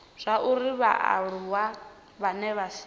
zwauri vhaaluwa vhane vha si